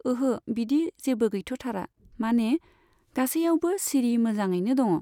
ओहो, बिदि जेबो गैथ'थारा, माने गासैआवबो सिरि मोजाङैनो दङ।